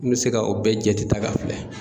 N mi se ka o bɛɛ jate ta k'a filɛ